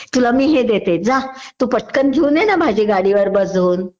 तुला मी हे देते जा. तू पटकन घेऊन ये ना भाजी गाडीवर बसून